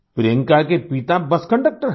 प्रियंका के पिता bus conductor हैं